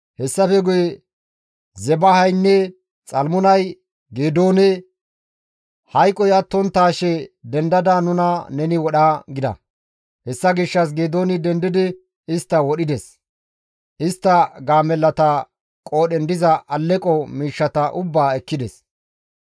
Hessafe guye Zebahaynne Xalmunay Geedoone, «Hayqoy attonttaashe dendada nuna neni wodha» gida; hessa gishshas Geedooni dendidi istta wodhides; istta gaamellata qoodhen diza alleqo miishshata ubbaa ekkides.